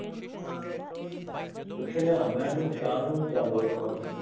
ਪੁੱਛ ਲਿਆ ਮੈਂ ਉਹਨੂੰ ਵਿਸ਼ਾਲ ਨੂੰ ਚੱਲ ਵਦੂ ਅੱਜ